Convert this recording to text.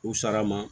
U sara ma